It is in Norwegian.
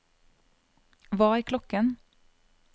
hva er klokken